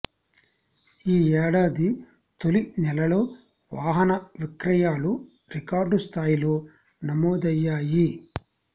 ఈ ఏడాది తొలి నెలలో వాహన విక్రయాలు రికార్డు స్థాయిలో నమోదయ్యాయి